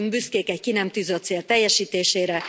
Nem lehetünk büszkék egy ki nem tűzött cél teljesítésére.